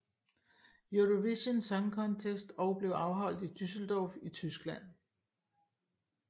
Eurovision Song Contest og blev afholdt i Düsseldorf i Tyskland